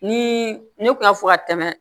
Ni ne kun y'a fɔ ka tɛmɛ